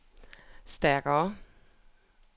stærkere